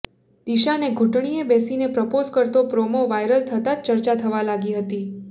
દિશાને ઘૂંટણિયે બેસીને પ્રપોઝ કરતો પ્રોમો વાયરલ થતાં જ ચર્ચા થવા લાગી હતી